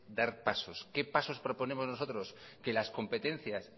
dar pasos qué pasos proponemos nosotros que las competencias